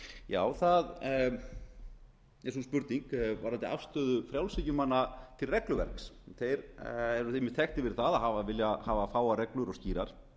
já það er sú spurning varðandi afstöðu frjálshyggjumanna til regluverks þeir eru þekktir fyrir það að vilja hafa fáar reglur og skýrar